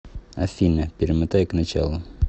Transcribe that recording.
афина перемотай к началу